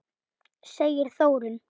segir Þórunn.